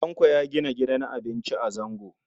Tanko ya gina gidan abinci a Zango.